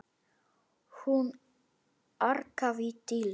Hún arkaði til Dóru.